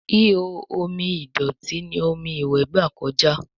Ihò omi ìdọ̀tí ní omí iwe gba kọjá